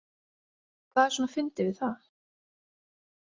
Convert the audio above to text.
Hvað er svona fyndið við það?